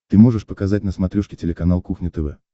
ты можешь показать на смотрешке телеканал кухня тв